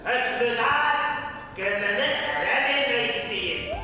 Həkimdar Gözəni ərə vermək istəyir.